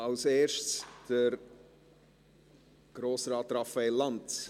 – Zuerst spricht Grossrat Raphael Lanz.